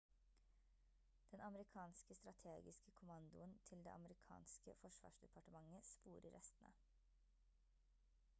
den amerikanske strategiske kommandoen til det amerikanske forsvarsdepartementet sporer restene